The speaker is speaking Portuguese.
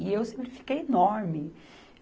E eu sempre fiquei enorme.